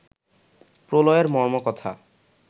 প্রলয়ের মর্মকথা